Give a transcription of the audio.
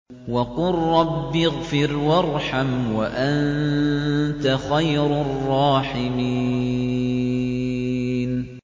وَقُل رَّبِّ اغْفِرْ وَارْحَمْ وَأَنتَ خَيْرُ الرَّاحِمِينَ